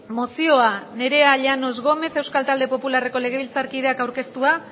mozioa nerea llanos gómez euskal talde popularreko legebiltzarkideak aurkeztua